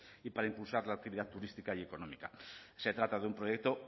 y para impulsar la actividad turística y económica se trata de un proyecto